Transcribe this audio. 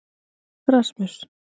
Rasmus